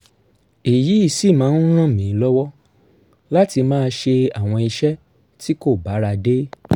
èyí sì máa ń ràn mí lọ́wọ́ láti máa ṣe àwọn iṣẹ́ tí kò bára dé